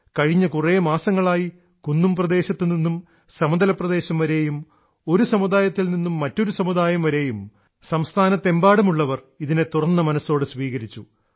കഴിഞ്ഞ കൂറെ മാസങ്ങളായി കുന്നുംപ്രദേശത്തുനിന്നും സമതല പ്രദേശംവരെയും ഒരു സമുദായത്തിൽനിന്നും മറ്റൊരു സമുദായം വരെയും രാജ്യത്തെമ്പാടും ഉള്ളവർ ഇതിനെ തുറന്ന മനസ്സോടെ സ്വീകരിച്ചു